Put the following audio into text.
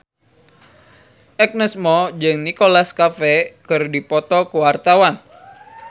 Agnes Mo jeung Nicholas Cafe keur dipoto ku wartawan